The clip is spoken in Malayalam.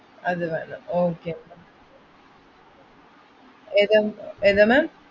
അതിനാണ് okay എന്നാ ഏതാണ്? ഏതാണ്?